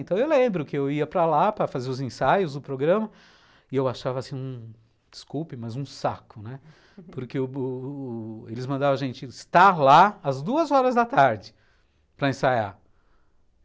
Então eu lembro que eu ia para lá para fazer os ensaios, o programa, e eu achava assim, desculpe, mas um saco, né, porque eles mandavam a gente estar lá às duas horas da tarde para ensaiar.